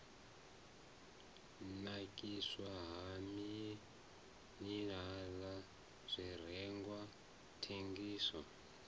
nakiswa ha minirala zwirengwa thengiso